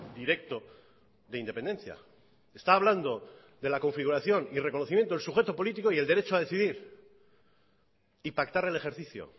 directo de independencia está hablando de la configuración y reconocimiento del sujeto político y el derecho a decidir y pactar el ejercicio